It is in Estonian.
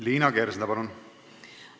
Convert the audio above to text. Liina Kersna, palun!